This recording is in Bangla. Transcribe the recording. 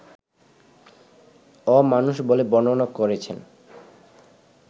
অ-মানুষ বলে বর্ণনা করেছেন